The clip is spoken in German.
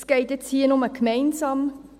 Das geht jetzt hier nur gemeinsam.